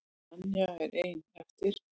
Tanya er ein eftir.